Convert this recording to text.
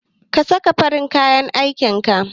Ka saka farin kayan aikin ka!